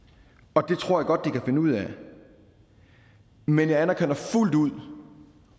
og det tror jeg godt de kan finde ud af men jeg anerkender fuldt ud